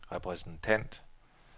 repræsentant